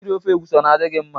Iri ofe egwusi ọ na-adị gị mma?